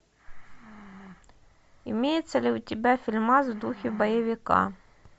имеется ли у тебя фильмас в духе боевика